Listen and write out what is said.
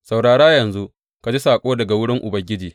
Saurara yanzu ka ji saƙo daga wurin Ubangiji.